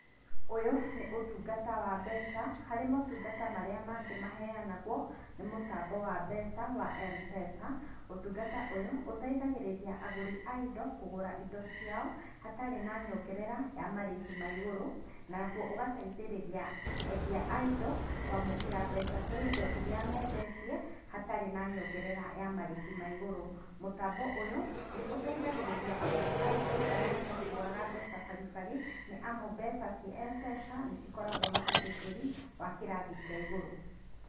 Ũyũ nĩ ũtungata wa mbeca harĩ motungata marĩa mangĩ maheyanagwo nĩ mũtambo wa mbeca wa Mpesa, ũtungata ũyũ ũteithagĩrĩria agũri a indo kũgũra indo ciao hatarĩ na nyongerera ya marihi maigũrũ naguo ũgateithĩrĩria endia a indo kwamũkĩra mbeca cia indo irĩa mendetie hatarĩ na nyongerera ya marĩhi maigũrũ. Mũtambo ũyũ nĩ ũtethagĩrĩa agũri a indo arĩa matakuaga mbeca bari bari, nĩ amu mbeca ciĩ Mpesa nĩcikoragwo na ũgitĩri wa kĩrathi kĩa igũrũ.